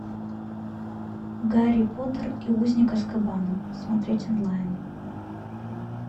гарри поттер и узник азкабана смотреть онлайн